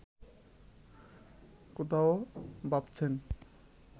কথাও ভাবছেন